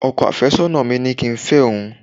ọkọ afesona mi ni ki n fẹ oun